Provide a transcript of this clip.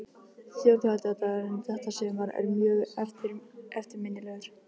Þjóðhátíðardagurinn þetta sumar er mjög eftirminnilegur.